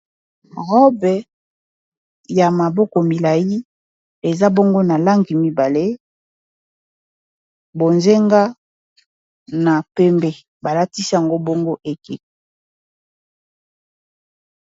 Robe ya maboko milayi eza bongo na langi mibale bonzenga na pembe balatisi yango bongo ekeko.